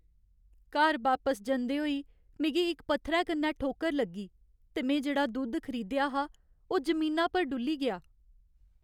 घर बापस जंदे होई मिगी इक पत्थरै कन्नै ठोकर लग्गी ते में जेह्ड़ा दुद्ध खरीदेआ हा ओह् जमीना पर डु'ल्ली गेआ।